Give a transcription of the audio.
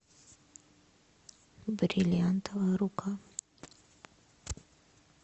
бриллиантовая рука